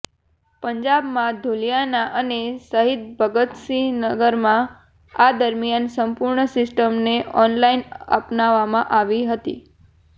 પંજાબના લુધિયાના અને શહીદ ભગત સિંહ નગરમાં આ દરમિયાન સંપૂર્ણ સિસ્ટમને ઓનલાઇન અપનાવવામાં આવી હતી